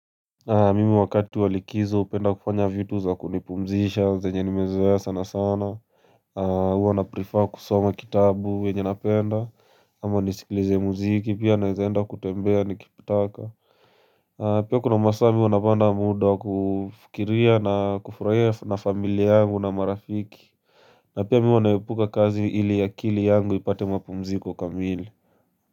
Mimi wakati walikizo upenda kufanya vitu za kunipumzisha zenye nimezoea sana sana. Uwa naprifa kusoma kitabu venye napenda ama nisikilize muziki pia naezaenda kutembea nikitaka. Pia kuna masaa mi huwa napata muda kufukiria na kufurahia na familia yangu na marafiki. Na pia mi huwa naepuka kazi ili yakili yangu ipate mapumziko kamili.